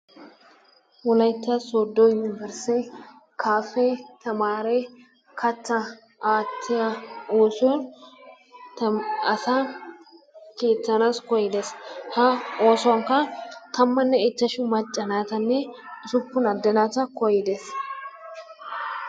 Wolaytta sooddo unbbursse kaafe tamaare kattaa aatiya oosuwa asaa kiittanaassi koydees ha oosuwankka tammanne ichchashshu macca naatanne usuppun ade naata koydees.